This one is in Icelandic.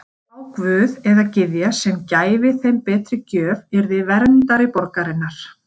Sá guð eða gyðja sem gæfi þeim betri gjöf yrði verndari borgarinnar.